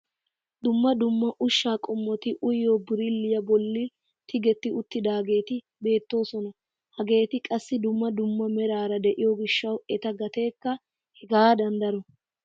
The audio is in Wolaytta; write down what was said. Dumma dumma ushshaa qommoti uyiyoo birilliyaa bolli tigetti uttidageeti beettoosona. hageeti qassi dumma dumma meraara de'iyoo giishshawu eta gateekka hegaadan daro.